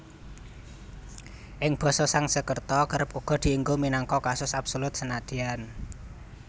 Ing Basa Sangskreta kerep uga dienggo minangka kasus absolut senadyan